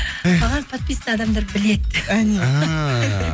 эх маған подписан адамдар біледі әне ааа